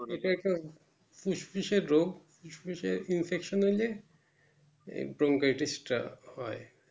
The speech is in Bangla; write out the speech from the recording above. ওটা একটা ফুসফুসের রোগ ফুসফুসে infection হলে এই bronchitis টা হয়